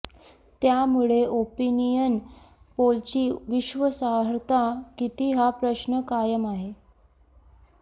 त्यामुळे ओपिनियन पोलची विश्वासार्हता किती हा प्रश्न कायम आह